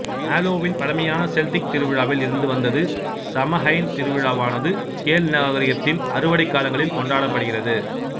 Halloween பழமையான Celtic திருவிழாவில் இருந்து வந்தது சமஹைன் திருவிழாவானது கேல் நாகரிகத்தின் அறுவடைக் காலங்களில் கொண்டாடப்படுகிறது